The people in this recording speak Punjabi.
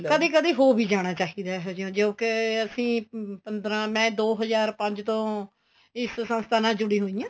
ਕਦੀ ਕਦੀ ਹੋ ਵੀ ਜਾਣਾ ਚਾਹੀਦਾ ਇਹੋ ਜਹੀਆਂ ਜੋ ਕੀ ਅਸੀਂ ਪੰਦਰਾਂ ਮੈਂ ਦੋ ਹਜਾਰ ਪੰਜ ਤੋਂ ਇਸ ਸੰਸਥਾ ਨਾਲ ਜੁੜੀ ਹੋਈ ਹਾਂ